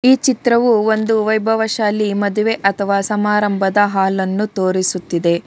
ಈ ಚಿತ್ರವು ಒಂದು ವೈಭವ ಶಾಲಿ ಮದುವೆ ಅಥವಾ ಸಮಾರಂಭದ ಹಾಲ್ ಅನ್ನು ತೋರಿಸುತ್ತಿದೆ.